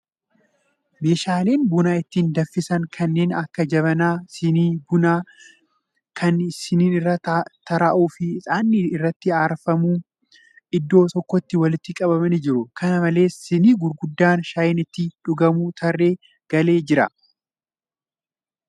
Meeshaaleen buna ittiin danfisan kannern akka jabanaa, sinii bunaa, kan siniin irra tarraa'u fi ixaanni irratti aarfamu iddoo tokkotti walitti qabamanii jiru. Kana malees, sinii gurguddaan shaayiin itti dhugamu tarree galee jira.